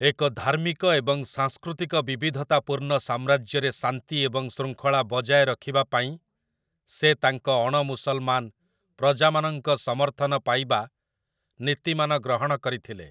ଏକ ଧାର୍ମିକ ଏବଂ ସାଂସ୍କୃତିକ ବିବିଧତାପୂର୍ଣ୍ଣ ସାମ୍ରାଜ୍ୟରେ ଶାନ୍ତି ଏବଂ ଶୃଙ୍ଖଳା ବଜାୟ ରଖିବା ପାଇଁ, ସେ ତାଙ୍କ ଅଣ-ମୁସଲମାନ ପ୍ରଜାମାନଙ୍କ ସମର୍ଥନ ପାଇବା ନୀତିମାନ ଗ୍ରହଣ କରିଥିଲେ ।